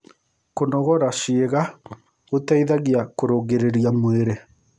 Kũnogora ciĩga gũteĩthagĩa kũrũngĩrĩrĩa mwĩrĩ